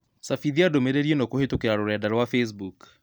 cabithia ndũmĩrĩri ĩnokũhītũkīra rũrenda rũa facebook